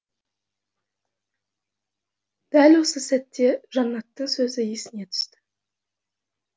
дәл осы сәтте жаннаттың сөзі есіне түсті